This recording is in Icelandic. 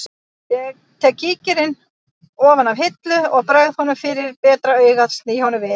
Ég tek kíkinn ofan af hillu og bregð honum fyrir betra augað sný honum við